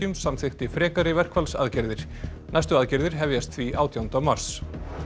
samþykkti frekari verkfallsaðgerðir næstu aðgerðir hefjast því átjánda mars